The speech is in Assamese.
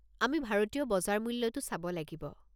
আমি ভাৰতীয় বজাৰ মূল্যটো চাব লাগিব।